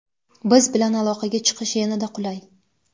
biz bilan aloqaga chiqish yanada qulay!.